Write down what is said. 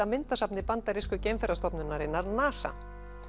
myndasafni bandarísku NASA